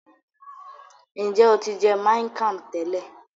Njẹ o ti jẹ miang Kham tẹlẹ?